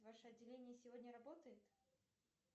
ваше отделение сегодня работает